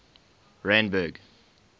randburg